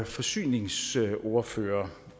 forsyningsordfører